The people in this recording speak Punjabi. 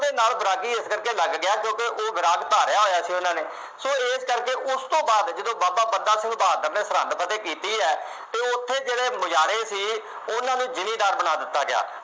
ਉਹਦੇ ਨਾਲ ਵੈਰਾਗੀ ਇਸ ਕਰਕੇ ਲੱਗ ਗਿਆ ਕਿਉਂਕਿ ਉਹ ਵੈਰਾਗ ਧਾਰਿਆ ਹੋਇਆ ਸੀ ਉਹਨਾ ਨੇ, ਸੋ ਇਸ ਕਰਕੇ ਉਸ ਤੋਂ ਬਾਅਦ ਜਦੋਂ ਬਾਬਾ ਬੰਦਾ ਸਿੰਘ ਬਹਾਦਰ ਨੇ ਸਰਹਿੰਦ ਫਤਿਹ ਕੀਤੀ ਹੈ ਅਤੇ ਉੱਥੇ ਜਿਹੜੇ ਮੁਜ਼ਹਾਰੇ ਸੀ ਉਹਨਾ ਨੂੰ ਜਿਮੀਂਦਾਰ ਬਣਾ ਦਿੱਤਾ ਗਿਆ।